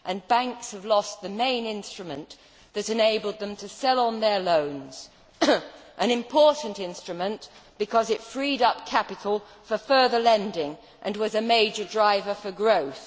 Banks have lost the main instrument that enabled them to sell on their loans an important instrument because it freed up capital for further lending and was a major driver for growth.